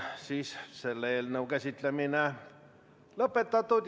Selle eelnõu käsitlemine on lõpetatud.